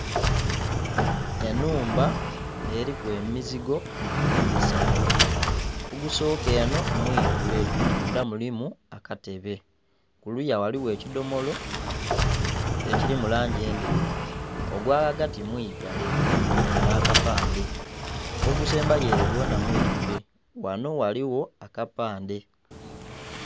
Enhumba eriku emizigo esatu ogusoka eno mwiigule mundha mulimu akatebe kuluya ghaligho ekidhomolo ekiri mulangi endheru. Ogwaghagati mwiigale kuliku n'akapandhe, ogusembayo ere gwona mwiigule ghanho ghaligho akapande.